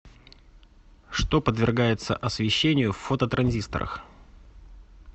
что подвергается освещению в фототранзисторах